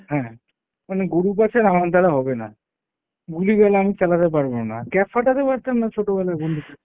হ্যাঁ, মানে গরু পাঁচার আমার দ্বারা হবে না, গুলি-গালা আমি চালাতে পারবো না। ক্যাপ ফাঁটাতে পারতাম না ছোটবেলায় বন্দুকের।